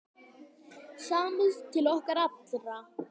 Samúð til okkar allra.